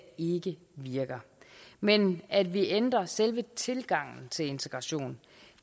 ikke virker men at vi ændrer selve tilgangen til integration